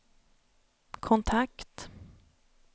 kontakt